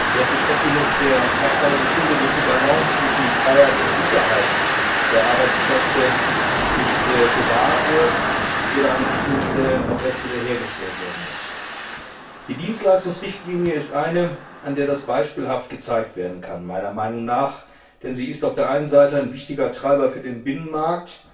Das ist oft genug der Tatsache geschuldet, dass die Balance zwischen Freiheit und Sicherheit der Arbeitskräfte nicht gewahrt wird oder an vielen Stellen erst wiederhergestellt werden muss. An der Dienstleistungsrichtlinie kann das beispielhaft gezeigt werden, denn sie ist auf der einen Seite ein wichtiger Treiber für den Binnenmarkt,